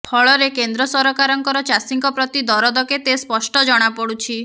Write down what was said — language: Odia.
ଫଳରେ କେନ୍ଦ୍ର ସରକାରଙ୍କର ଚାଷୀଙ୍କ ପ୍ରତି ଦରଦ କେତେ ସ୍ପଷ୍ଟ ଜଣାପଡୁଛି